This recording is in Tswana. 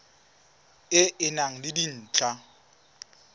e e nang le dintlha